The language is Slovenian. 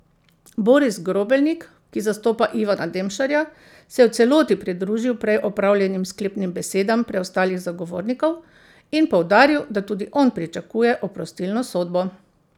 Boris Grobelnik, ki zastopa Ivana Demšarja, se je v celoti pridružil prej opravljenim sklepnim besedam preostalih zagovornikov in poudaril, da tudi on pričakuje oprostilno sodbo.